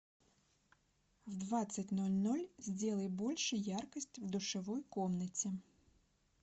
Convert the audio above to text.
в двадцать ноль ноль сделай больше яркость в душевой комнате